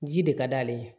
Ji de ka d'ale ye